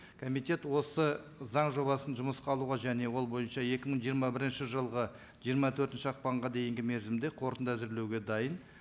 комитет осы заң жобасын жұмысқа алуға және ол бойынша екі мың жиырма бірінші жылғы жиырма төртінші ақпанға дейінгі мерзімде қорытынды әзірлеуге дайын